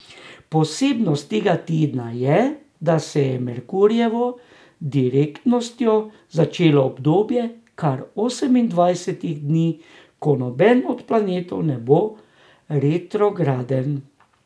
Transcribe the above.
Posebnost tega tedna je, da se je z Merkurjevo direktnostjo začelo obdobje kar osemindvajsetih dni, ko noben od planetov ne bo retrograden.